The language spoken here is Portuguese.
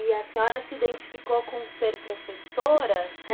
E a senhora se identificou com ser professora?